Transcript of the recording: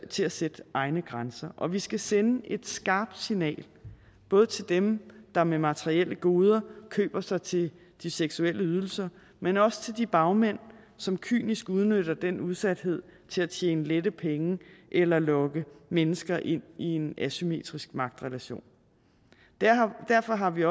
til at sætte egne grænser og vi skal sende et skarpt signal både til dem der med materielle goder køber sig til de seksuelle ydelser men også til de bagmænd som kynisk udnytter den udsathed til at tjene lette penge eller lokke mennesker ind i en asymmetrisk magtrelation derfor har vi